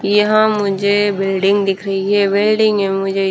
यहां मुझे बिल्डिंग दिख रही है बिल्डिंग में मुझे--